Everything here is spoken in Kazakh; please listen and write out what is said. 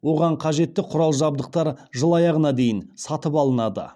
оған қажетті құрал жабдықтар жыл аяғына дейін сатып алынады